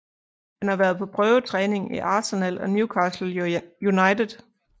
Han har været på prøvetræning i Arsenal og Newcastle United